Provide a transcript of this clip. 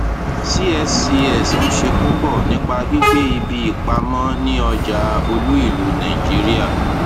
cscs ń ṣe púpọ nípa gbígbé ibi ìpamọ ní ọjà olúìlú nàìjíríà